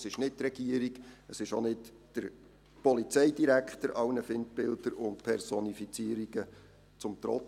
Es ist nicht die Regierung und auch nicht der Polizeidirektor, allen Feindbildern und Personifizierungen zum Trotz.